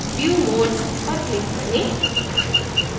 view modes पर click करें